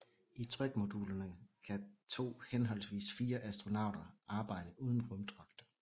I trykmodulerne kan to henholdsvis fire astronauter arbejde uden rumdragter